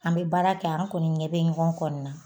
An mɛ baara kɛ an kɔni ɲɛ bɛ ɲɔgɔn kɔni na